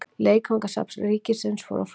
Leikfangasafn ríkisins fór á flug.